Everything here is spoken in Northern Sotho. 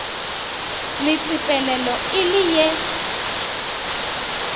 le tsepelelo e le ye